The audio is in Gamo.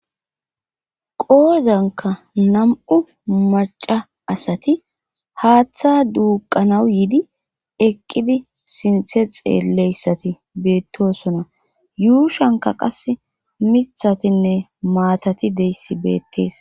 Qooodankanam7u maca asati haaththa duuqanaw yidi eqqidi sinthe xeelleyssati beettosona yuushanka qas mithatinne maatati deyssi beettees.